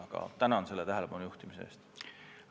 Aga tänan selle tähelepanujuhtimise eest!